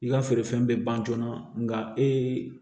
I ka feerefɛn bɛ ban joona nka ee